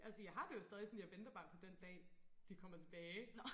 Altså jeg har det jo stadig sådan jeg venter bare på den dag de kommer tilbage